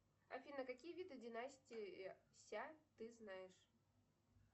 афина какие виды династии ся ты знаешь